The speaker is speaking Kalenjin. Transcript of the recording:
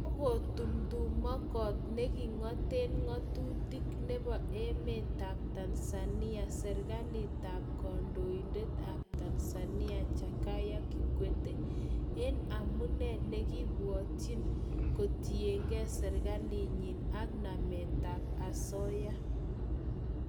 Kakotumtumkot nekingoten ngotutik nebo emetab Tanzania serikalitab kandoindet ab Tanzania Jakaya Kikwete en amune nekipwotyiin kotinyike serkalinyin ak nametap asoya